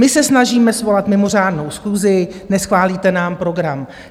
My se snažíme svolat mimořádnou schůzi - neschválíte nám program.